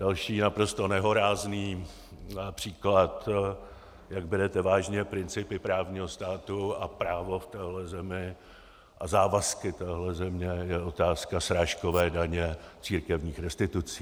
Další naprosto nehorázný příklad, jak berete vážně principy právního státu a právo v téhle zemi a závazky téhle země, je otázka srážkové daně církevních restitucí.